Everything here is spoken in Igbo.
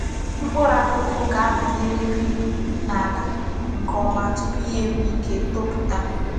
Mkpuru akuku ga -abanyeriri n'ala nke oma tupu ya enwee Ike toputa.